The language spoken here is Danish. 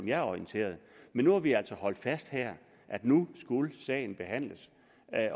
jeg er orienteret men nu har vi altså holdt fast i her at nu skulle sagen behandles